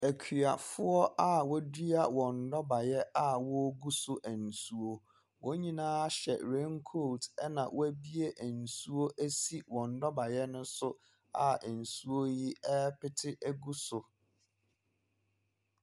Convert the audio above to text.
Akuafoɔ a wɔadua wɔn nnɔbaeɛ a wɔregu so nsuo. Wɔn nyinaa hyɛ rain coat, ɛna wɔabue nsuo asi wɔn nnɔbaeɛ no so a nsuo yi repete gu so.